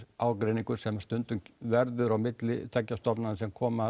ágreiningur sem stundum verður á milli tveggja stofnana sem koma að